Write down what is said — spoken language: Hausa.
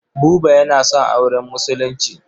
Buba yana son auren Musulunci.